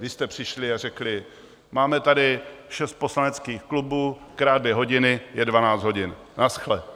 Vy jste přišli a řekli: Máme tady šest poslaneckých klubů, krát dvě hodiny je dvanáct hodin, nashle.